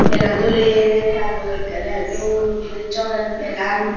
belan dole jalloi ekkere dol guriney joler belan.